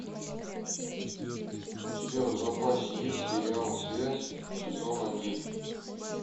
у тебя в запасе есть сериал связь сезон один